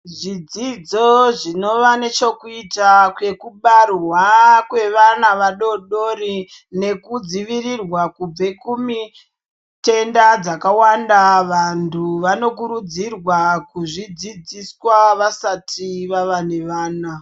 Zvidzidzo zvinova nechekuita kwekubarwa kwevana vadodori, nekudzivirirwa kubve kumitenda dzakawanda, vantu vanokurudzirwa kuzvidzidziswa, vasati vava nevana.